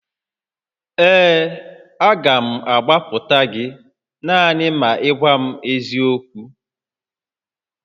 Ee, a ga m agbapụta gị naanị ma ị gwa m eziokwu